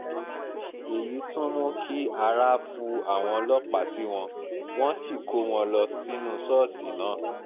èyí tún mú kí ara fu àwọn ọlọ́pàá sí wọn wọ́n sì kó wọn lọ sínú ṣọ́ọ̀ṣì náà